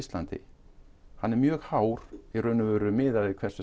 landi er mjög hár í raun og veru miðað við hversu